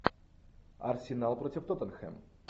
арсенал против тоттенхэм